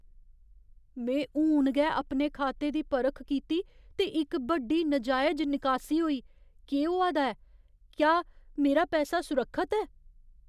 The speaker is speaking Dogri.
में हून गै अपने खाते दी परख कीती ते इक बड्डी, नजायज निकासी होई। केह् होआ दा ऐ? क्या मेरा पैसा सुरक्खत ऐ?